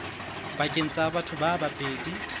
pakeng tsa batho ba babedi